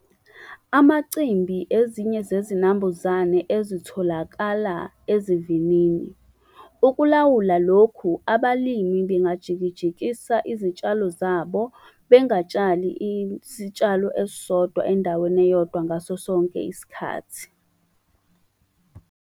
Amacimbi ezinye zezinambuzane ezitholakala esivinini. Ukulawula lokhu, abalimi bengajikijikisa izitshalo zabo bengatshali isitshalo esisodwa endaweni eyodwa ngaso sonke isikhathi.